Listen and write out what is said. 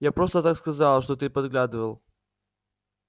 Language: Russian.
я просто так сказала что ты подглядывал